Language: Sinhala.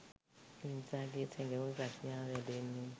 මිනිසාගේ සැඟවුණූ ප්‍රඥාව වැඩෙන්නේ